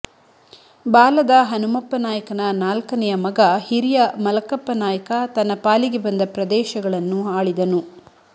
ಬಾಲದ ಹನುಮಪ್ಪನಾಯಕನ ನಾಲ್ಕನೆಯ ಮಗ ಹಿರಿಯ ಮಲಕಪ್ಪನಾಯಕ ತನ್ನ ಪಾಲಿಗೆ ಬಂದ ಪ್ರದೇಶಗಳನ್ನು ಆಳಿದನು